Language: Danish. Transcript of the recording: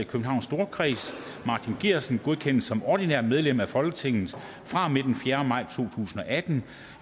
i københavns storkreds martin geertsen godkendes som ordinært medlem af folketinget fra og med den fjerde maj to tusind og atten